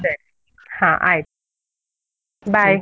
ಸರಿ ಹಾ ಆಯ್ತ್ .